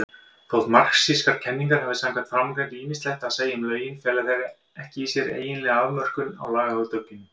Þótt marxískar kenningar hafi samkvæmt framangreindu ýmislegt að segja um lögin, fela þær ekki í sér eiginlega afmörkun á lagahugtakinu.